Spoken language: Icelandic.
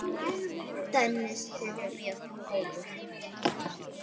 Dennis þykir mjög góður?